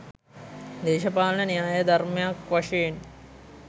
දේශපාලන න්‍යාය ධර්මයක් වශයෙන්